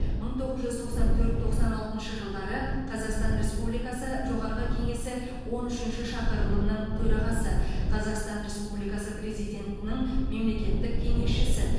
мың тоғыз жүз тоқсан төрт тоқсан алтыншы жылдары қазақстан республикасы жоғарғы кеңесі он үшінші шақырылымының төрағасы қазақстан республикасы президентінің мемлекеттік кеңесшісі